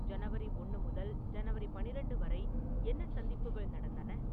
ஜனவரி ஒன்னு முதல் ஜனவரி பன்னிரண்டு வரை என்ன சந்திப்புகள் நடந்தன